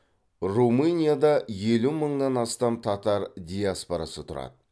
румынияда елу мыңнан астам татар диаспорасы тұрады